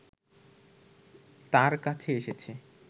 তার কাছে এসেছে